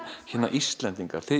Íslendingar